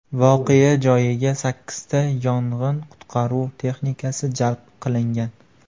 Voqea joyiga sakkizta yong‘in-qutqaruv texnikasi jalb qilingan.